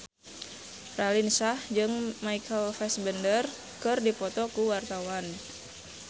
Raline Shah jeung Michael Fassbender keur dipoto ku wartawan